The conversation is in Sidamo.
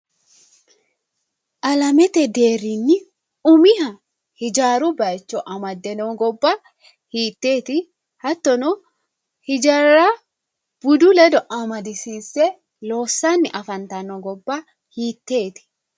Alamete deerrinni umiha hijaaru baayiicho amade noo gobba hiiteeti? hattono hijaarra budu ledo amadisiisse loossanni afantanno gobba hiiteeti?